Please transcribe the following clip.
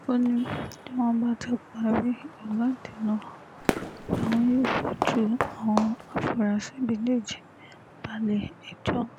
ó ní tí wọ́n bá ti parí ìwádìí náà làwọn yóò fojú àwọn afurasí méjèèjì balẹ̀-ẹjọ́